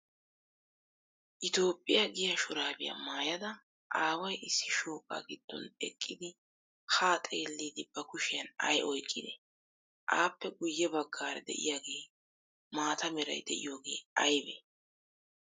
Etoophphiya giya shuraabiya maayada aaway issi shooqaa giddon eqqidi haa xeelliiddi ba kushiyan ay oyqqidee? Appe guye baggaara de'iyaagee maata meray de'iyogee aybee?